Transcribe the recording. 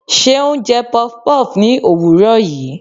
Seun jẹ puff-puff ní òwúrọ̀ yìí.